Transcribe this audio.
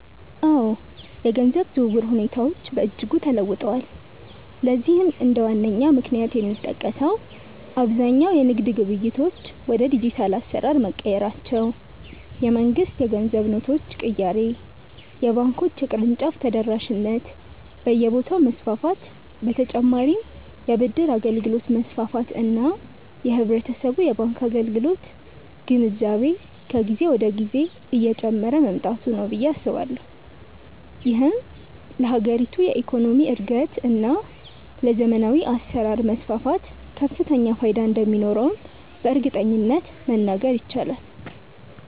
አዎ፣ የገንዘብ ዝውውር ሁኔታዎች በእጅጉ ተለውጠዋል። ለዚህም እንደ ዋነኛ ምክንያት የሚጠቀሰው አብዛኛው የንግድ ግብይቶች ወደ ዲጂታል አሰራር መቀየራቸው፣ የመንግስት የገንዘብ ኖቶች ቅያሬ፣ የባንኮች የቅርንጫፍ ተደራሽነት በየቦታው መስፋፋት በ ተጨማርም የ ብድር አገልግሎት መስፋፋት እና የህብረተሰቡ የባንክ አገልግሎት ግንዛቤ ከጊዜ ወደ ጊዜ እየጨመረ መምጣቱ ነው ብዬ አስባለሁ። ይህም ለሀገሪቱ የኢኮኖሚ እድገት እና ለዘመናዊ አሰራር መስፋፋት ከፍተኛ ፋይዳ እንደሚኖረውም በእርግጠኝነት መናገር ይቻላል።